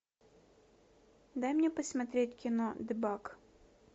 дай мне посмотреть кино дебаг